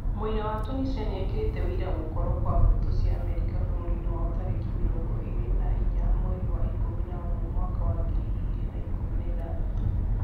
Mũraia wa Tunisia nĩekĩrĩte wĩira gũkorwo kwa mbũtũ cia Amerika bũrũri-inĩ wao tarĩlki mirongo iri na inya mwei wa ikũmi na ũmwe mwaka wa ngiri igĩrĩ na ikũmi na ithathatũ